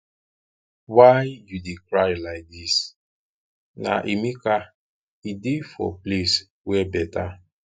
why you dey cry like dis na emeka e dey for place where better